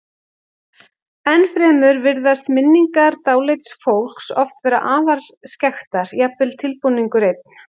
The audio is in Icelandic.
Ennfremur virðast minningar dáleidds fólks oft vera afar skekktar, jafnvel tilbúningur einn.